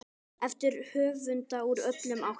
eftir höfunda úr öllum áttum.